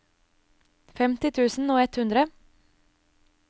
femti tusen og ett hundre